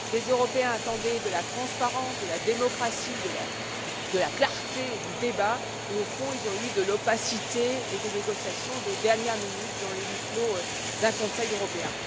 Les Européens attendaient de la transparence, de la démocratie, de la clarté dans le débat et, au fond, ils ont eu de l'opacité et des négociations de dernière minute dans le huis clos d'un Conseil européen.